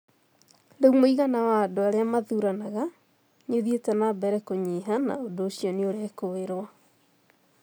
Rĩu mũigana wa andũ arĩa mathuranaga nĩ ũthiĩte na mbere kũnyiha na ũndũ ũcio nĩ ũrekũĩrwo.